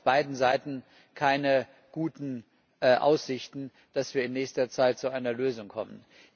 Also auf beiden Seiten keine guten Aussichten, dass wir in nächster Zeit zu einer Lösung kommen.